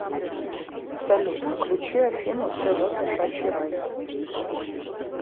салют включи афину тэ вэ кошачий рай